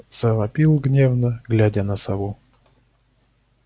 завопил гневно глядя на сову